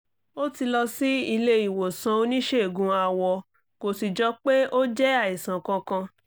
ó ti lọ sí ilé ìwòsàn oníṣègùn awọ kò sì jọ pé ó jẹ́ àìsàn kankan